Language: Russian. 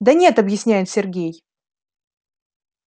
да нет объясняет сергей